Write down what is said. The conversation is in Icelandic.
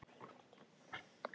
Kinan, hver syngur þetta lag?